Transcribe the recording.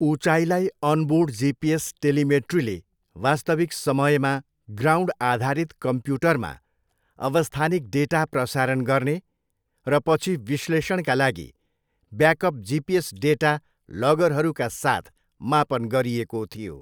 उचाइलाई onboard GPS टेलिमेट्रीले वास्तविक समयमा ग्राउन्ड आधारित कम्प्युटरमा अवस्थानिक डाटा प्रसारण गर्ने र पछि विश्लेषणका लागि ब्याकअप जिपिएस डाटा लगरहरूका साथ मापन गरिएको थियो।